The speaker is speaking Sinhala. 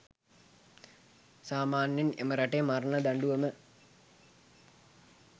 සාමාන්‍යයෙන් එම රටේ මරණ දඬුවම